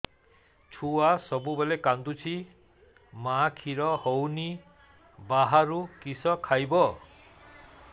ଛୁଆ ସବୁବେଳେ କାନ୍ଦୁଚି ମା ଖିର ହଉନି ବାହାରୁ କିଷ ଖାଇବ